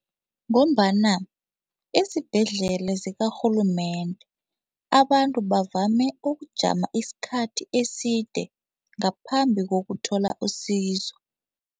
Ngombana izibhedlela zikarhulumende abantu bavame ukujama isikhathi eside ngaphambi kokuthola usizo.